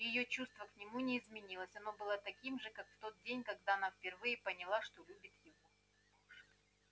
её чувство к нему не изменилось оно было таким же как в тот день когда она впервые поняла что любит его